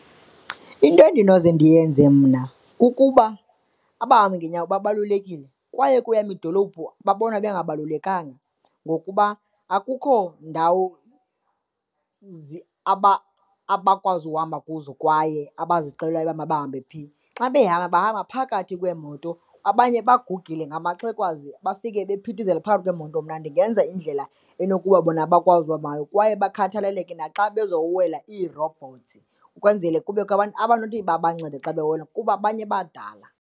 Into endinoze ndiyenze mna kukuba abahambi ngeenyawo balulekile kwaye kweyam idolophu babonwa bengabalulekanga ngokuba akukho ndawo abakwazi uhamba kuzo kwaye abazixelelwayo uba mabahambe phi. Xa behamba, bahamba phakathi kweemoto, abanye bagugile ngamaxhewukazi bafike bephithizela phakathi kweemoto. Mna ndingenza indlela enokuba bona bakwazi kwaye bakhathaleleke naxa bezokuwela iirobhothi, ukwenzele kubekho abantu abanothi babancede xa bewela kuba abanye badala.